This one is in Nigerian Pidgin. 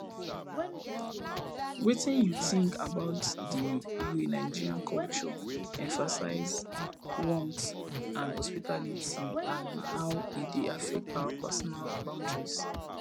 wetin you think about di way nigerian culture emphasize warmth and hospitality and how e dey affect our personal boundaries